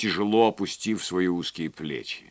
тяжело опустив свои узкие плечи